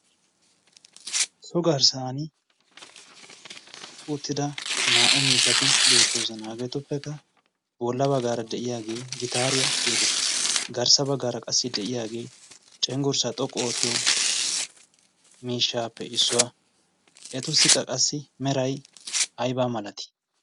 so garssan uttida naa"u miishati beettooza naageetuppekka boolla baggaara de'iyaagee gitaariyaa geetettees garssa baggaara qassi de'iyaagee cenggurssaa xoqqu oottiyo miishshaappe issuwaa etussiqqa qassi meray aybaa malatee?